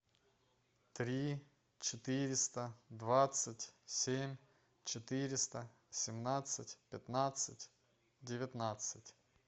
три четыреста двадцать семь четыреста семнадцать пятнадцать девятнадцать